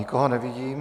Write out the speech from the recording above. Nikoho nevidím.